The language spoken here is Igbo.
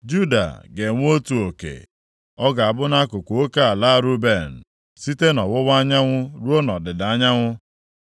Juda ga-enwe otu oke. Ọ ga-abụ nʼakụkụ oke ala Ruben, site nʼọwụwa anyanwụ ruo nʼọdịda anyanwụ.